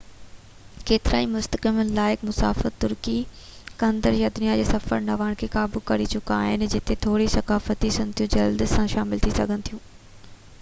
ڪيترائي مستحڪم لائق مسافر ترقي ڪندڙ دنيا جي سفر جي نواڻ کي قابو ڪري چڪا آهن جتي ٿوري ثقافتي سنوتون جلدي سان شامل ٿي سگهن ٿيون